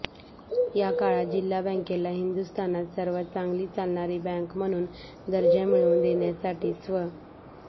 याकाळात जिल्हा बंकेला हिदुस्थानात सर्वात चांगली चालणारी बँक म्हणून दर्जा मिळवून देण्यासाठी स्व